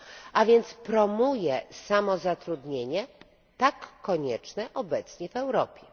a więc promuje samozatrudnienie, tak konieczne obecnie w Europie.